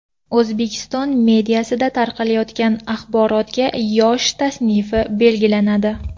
O‘zbekiston mediasida tarqatilayotgan axborotga yosh tasnifi belgilanadi.